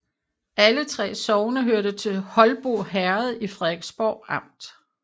Alle 3 sogne hørte til Holbo Herred i Frederiksborg Amt